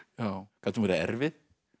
gat hún verið erfið